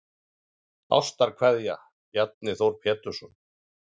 Ástarkveðja Bjarni Þór Pétursson